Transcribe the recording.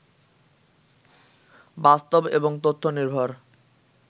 বাস্তব এবং তথ্য নির্ভর